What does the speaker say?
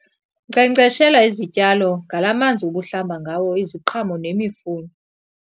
Nkcenkceshela izityalo ngalaa manzi ubuhlamba ngawo iziqhamo nemifuno.